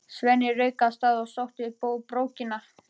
Svenni rauk af stað og sótti brókina.